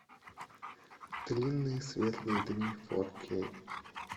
длинные светлые дни фор кей